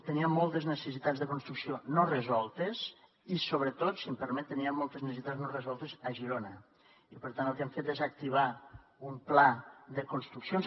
tenia moltes necessitats de construcció no resoltes i sobretot si em permet tenia moltes necessitats no resoltes a girona i per tant el que hem fet és activar un pla de construccions